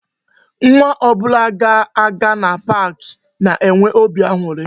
Nwa ọbụla ga-aga na pak na-enwe óbị aṅụrị